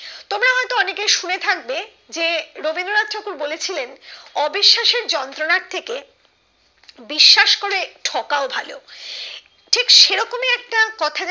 যে রবীন্দ্র নাথ ঠাকুর বলেছিলেন অবিশ্বাসের যন্ত্রণার থেকে বিশ্বাস করে ঠকা ও ভালো ঠিক সেরকম ই একটা কথা